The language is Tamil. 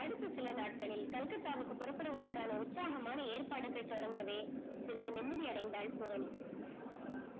அடுத்து சில நாட்களில் Calcutta க்கு புறப்படுவதற்கான உற்சாகமான ஏற்பாடுகள் தொடங்கவே சிறிது நிம்மதி அடைந்தால் பூரணி